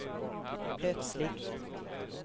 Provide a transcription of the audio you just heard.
plötsligt